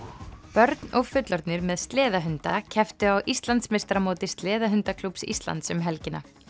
börn og fullorðnir með kepptu á Íslandsmeistaramóti Sleðahundaklúbbs Íslands um helgina